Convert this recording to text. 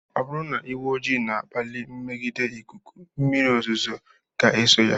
Ọ bụrụ na ìgwè ojii na-akpali mmegide ikuku mmírí ozuzo ga eso ya.